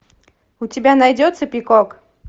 у тебя найдется пикок